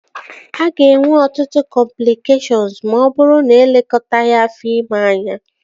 A ga-enwe ọtụtụ cọmplịkeshọnụ ma ọ bụrụ na-elekọtaghi afọ ime anya